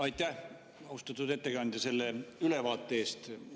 Aitäh, austatud ettekandja, selle ülevaate eest!